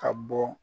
Ka bɔ